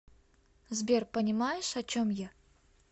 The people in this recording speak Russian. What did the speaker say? сбер понимаешь о чем я